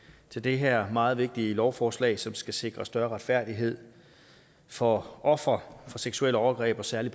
til det her meget vigtige lovforslag som skal sikre større retfærdighed for ofre for seksuelle overgreb særlig